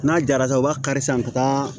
N'a jara u b'a ka kari sisan ka taa